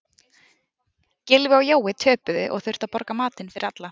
Gylfi og Jói töpuðu og þurfa að borga matinn fyrir alla.